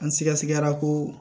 An sɛgɛsɛgɛra ko